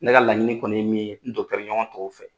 Ne laɲini kɔni ye min ye, n ɲɔgɔn tɔw fɛ